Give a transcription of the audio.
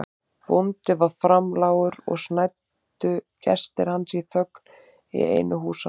Bóndi var framlágur og snæddu gestir hans í þögn í einu húsanna.